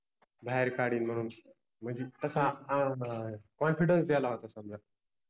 बाहेर काढिन मनुन मनजे तस अह Confidence दिला होता समजा,